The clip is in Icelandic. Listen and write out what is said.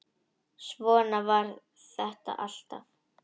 Svona var þetta alltaf.